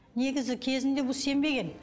негізі кезінде бұл сенбеген